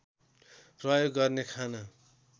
प्रयोग गर्ने खाना